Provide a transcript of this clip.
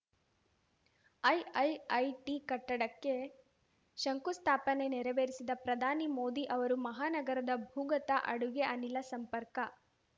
IIIT ಕಟ್ಟಡಕ್ಕೆ ಶಂಕುಸ್ಥಾಪನೆ ನೆರವೇರಿಸಿದ ಪ್ರಧಾನಿ ಮೋದಿ ಅವರು ಮಹಾನಗರದ ಭೂಗತ ಅಡುಗೆ ಅನಿಲ ಸಂಪರ್ಕ